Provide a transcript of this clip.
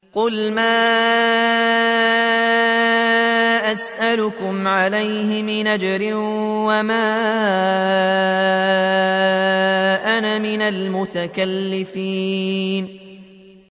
قُلْ مَا أَسْأَلُكُمْ عَلَيْهِ مِنْ أَجْرٍ وَمَا أَنَا مِنَ الْمُتَكَلِّفِينَ